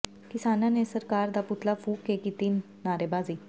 ਕਿਸਾਨਾਂ ਨੇ ਸਰਕਾਰ ਦਾ ਪੁਤਲਾ ਫੂਕ ਕੇ ਕੀਤੀ ਨਾਅਰੇਬਾਜ਼ੀ